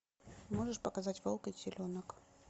можешь показать волк и теленок